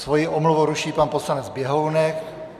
Svoji omluvu ruší pan poslanec Běhounek.